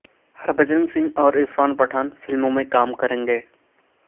ہربھجن سنگھ اور عرفان پٹھان فلموں میں کام کریں گے